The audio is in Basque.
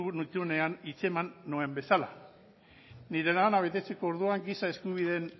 nituenean hitz eman nuen bezala nire lana betetzeko orduan giza eskubideen